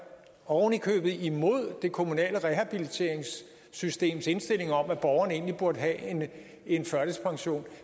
ovenikøbet imod det kommunale rehabiliteringssystems indstilling om at borgeren egentlig burde have en førtidspension